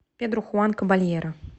педро хуан кабальеро